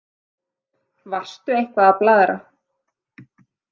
Varstu eitthvað að blaðra?